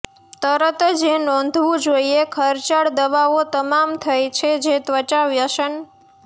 તરત જ એ નોંધવું જોઈએ ખર્ચાળ દવાઓ તમામ થઇ છે જે ત્વચા વ્યસન